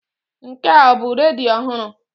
Nke a ọ bụ redio ọhụrụ?